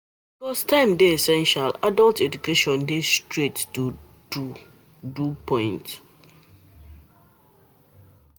Because time dey essential adult education dey straight to do do point